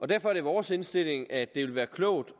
derfor er vores indstilling at det vil være klogt